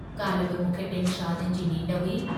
काल्ह बि मूंखे टिनि शादियुनि जी नींढ हुई।